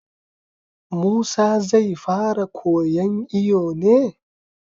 Musa zai fara kowan iyo ne?